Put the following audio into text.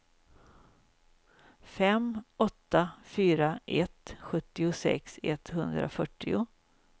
fem åtta fyra ett sjuttiosex etthundrafyrtio